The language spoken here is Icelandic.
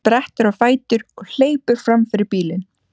Sprettur á fætur og hleypur fram fyrir bílinn.